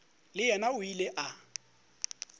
le yena o ile a